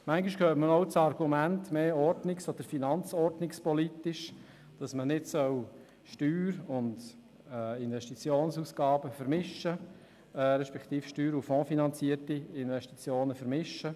Manchmal hört man auch das finanzordnungspolitische Argument, man solle nicht Steuer- und Investitionsausgaben vermischen, respektive man solle Steuer- und Fonds-finanzierte Investitionen nicht vermischen.